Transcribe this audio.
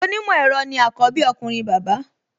Onímọ̀ ẹ̀rọ ni àkọ́bí ọkùnrin bàbá